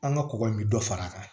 An ka kɔgɔ in bɛ dɔ fara a kan